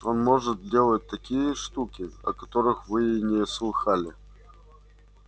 он может делать такие штуки о которых вы и не слыхала